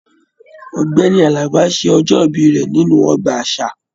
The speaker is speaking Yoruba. Ọgbẹni Àlàbá ṣe ọjọ-ibi rẹ nínú ọgbà àṣà.